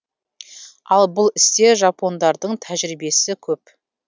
ал бұл істе жапондардың тәжірибесі көп